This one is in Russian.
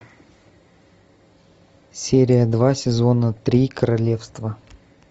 серия два сезона три королевство